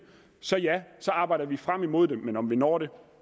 så ja så arbejder vi frem imod det men om vi når det